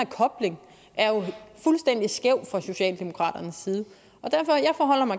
kobling er fuldstændig skæv fra socialdemokraternes side